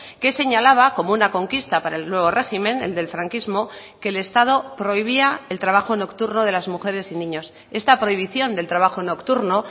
que señalaba como una conquista para el nuevo régimen el del franquismo que el estado prohibía el trabajo nocturno de las mujeres y niños esta prohibición del trabajo nocturno